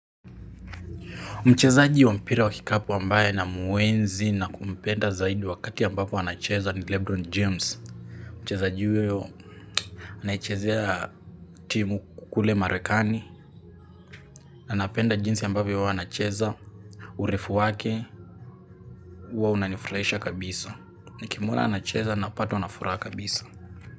Mchezaji wa mpira wa kikapu ambaye namuenzi na kumpenda zaidi wakati ambapo anacheza ni Lebron James. Mchezaji huyo anaichezea timu kukule marekani, anapenda jinsi ambavyo uwa anacheza, urefu wake, uwa unanifraisha kabisa. Nikimwona anacheza napatwa nafuraa kabisa.